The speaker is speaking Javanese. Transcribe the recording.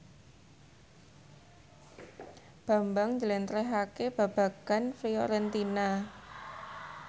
Bambang njlentrehake babagan Fiorentina